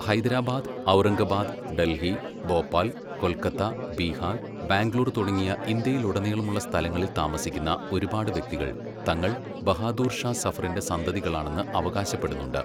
ഹൈദരാബാദ്, ഔറംഗബാദ്, ഡൽഹി, ഭോപ്പാൽ, കൊൽക്കത്ത, ബീഹാർ, ബാംഗ്ലൂർ തുടങ്ങിയ ഇന്ത്യയിലുടനീളമുള്ള സ്ഥലങ്ങളിൽ താമസിക്കുന്ന ഒരുപാട് വ്യക്തികൾ തങ്ങൾ ബഹാദൂർ ഷാ സഫറിൻ്റെ സന്തതികളാണെന്ന് അവകാശപ്പെടുന്നുണ്ട്.